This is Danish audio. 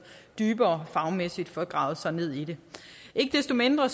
dybere fagmæssigt får gravet sig ned i det ikke desto mindre